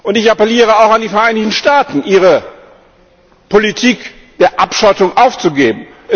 Ich appelliere auch an die Vereinigten Staaten, ihre Politik der Abschottung aufzugeben.